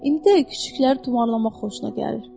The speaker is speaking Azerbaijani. İndi də küçükləri tumarlamaq xoşuna gəlir.